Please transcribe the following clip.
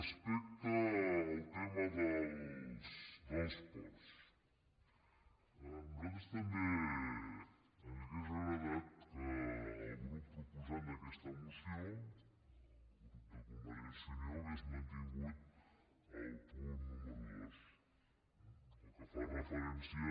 respecte al tema dels ports a nosaltres també ens hauria agradat que el grup proposant d’aquesta moció convergència i unió hagués mantingut el punt número dos el que fa referència